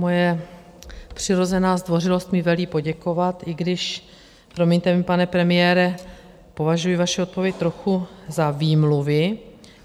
Moje přirozená zdvořilost mi velí poděkovat, i když, promiňte mi, pane premiére, považuji vaši odpověď trochu za výmluvy.